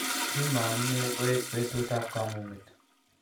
kimangune koek betut ab kamunget